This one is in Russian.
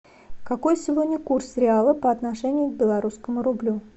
какой сегодня курс реала по отношению к белорусскому рублю